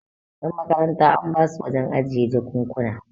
yanmakaranta an basu wajen ajiye jakunkuna